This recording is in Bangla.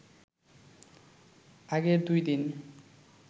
আগের দুই দিন